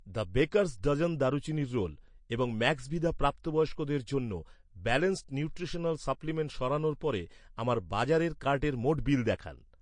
the Baker's Dozen দারুচিনির roll এবং Maxvida প্রাপ্তবয়স্কদের জন্য ব্যালান্সড নিউট্রিশনাল সাপ্লিমেন্ট সরানোর পরে, আমার বাজারের কার্টের মোট বিল দেখান